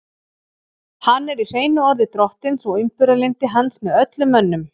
Hann er í hreinu orði drottins og umburðarlyndi hans með öllum mönnum.